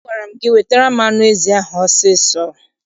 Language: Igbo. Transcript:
Agwara m gị wetara m anụ ezi ahụ ọsọ ọsọ!